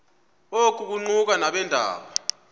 oku kuquka nabeendaba